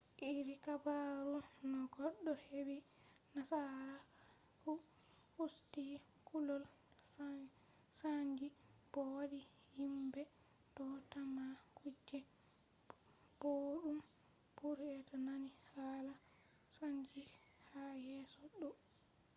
iri habaru no goɗɗo heɓɓi nasaraku usti kulol saanji bo wadi himɓe do tamma kuje boɗɗum to be nani hala saanji ha yeeso ɗo